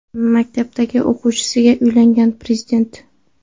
Maktabdagi o‘qituvchisiga uylangan prezident.